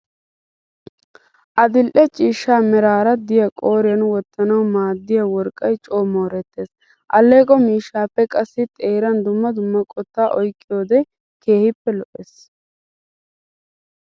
Adil'e ciishsha merara diya qooriyan wottanawu maaddiya worqqay coo moorettes. Alleeqo mishshappe qassi xeeran dumma dumma qotta oyiqqiyode keehippe lo'ees.